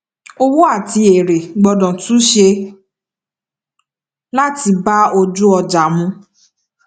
owó àti èrè gbọdọ túnṣe láti bá ojúọjà mu